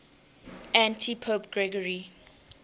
antipope gregory